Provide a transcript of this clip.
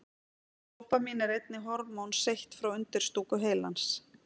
Dópamín er einnig hormón seytt frá undirstúku heilans.